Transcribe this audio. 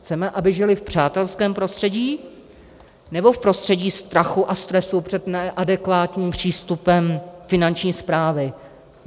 Chceme, aby žili v přátelském prostředí, nebo v prostředí strachu a stresu před neadekvátním přístupem Finanční správy?